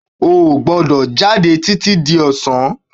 O ò gbọ́dọ̀ jáde títí di ọ̀sán